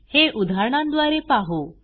हे उदाहरणांद्वारे पाहू